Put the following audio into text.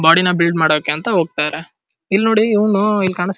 body ನಾ build ಮಾಡೋಕೆ ಅಂತ ಹೋಗ್ತಾರೆ ಇಲ್ನೋಡಿ ಇವ್ನು ಇಲ್ ಕಾಣಿಸ್ತಾ --